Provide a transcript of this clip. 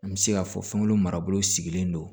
An bɛ se k'a fɔ fɛnw marabolo sigilen don